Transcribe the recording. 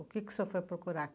O que que o senhor foi procurar?